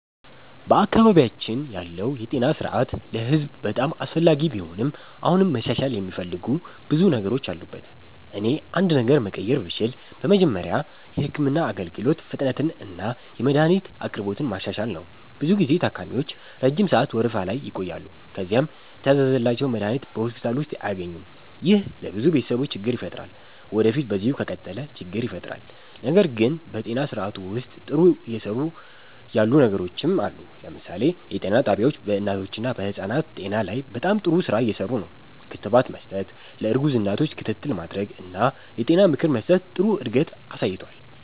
በአካባቢያችን ያለው የጤና ስርዓት ለህዝብ በጣም አስፈላጊ ቢሆንም አሁንም መሻሻል የሚፈልጉ ብዙ ነገሮች አሉበት። እኔ አንድ ነገር መቀየር ብችል በመጀመሪያ የህክምና አገልግሎት ፍጥነትንና የመድሀኒት አቅርቦትን ማሻሻል ነው። ብዙ ጊዜ ታካሚዎች ረጅም ሰዓት ወረፋ ላይ ይቆያሉ፣ ከዚያም የታዘዘላቸውን መድሀኒት በሆስፒታል ውስጥ አያገኙም። ይህ ለብዙ ቤተሰቦች ችግር ይፈጥራል ወዴፊት በዚሁ ከቀጠለ ችግር ይፈጥራል። ነገር ግን በጤና ስርዓቱ ውስጥ ጥሩ እየሰሩ ያሉ ነገሮችም አሉ። ለምሳሌ የጤና ጣቢያዎች በእናቶችና በህፃናት ጤና ላይ በጣም ጥሩ ስራ እየሰሩ ነው። ክትባት መስጠት፣ ለእርጉዝ እናቶች ክትትል ማድረግ እና የጤና ምክር መስጠት ጥሩ እድገት አሳይቷል።